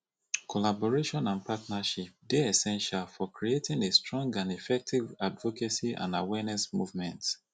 collaboration and partnership dey essential for creating a strong and effective advocacy and awareness movement